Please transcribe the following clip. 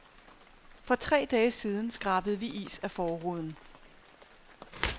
For tre dage siden skrabede vi is af forruden.